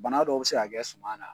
Bana dɔw bɛ se ka kɛ suma na.